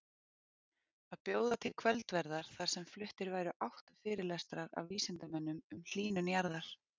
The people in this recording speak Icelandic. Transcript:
Að bjóða til kvöldverðar þar sem fluttir væru átta fyrirlestrar af vísindamönnum um hlýnun jarðar.